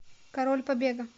король побега